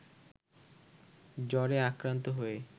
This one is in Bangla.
জ্বরে আক্রান্ত হয়ে